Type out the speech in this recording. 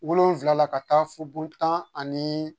Wolonfila la ka taa fo bo tan ani